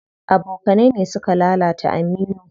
Abokanai ne suka lalata Aminu.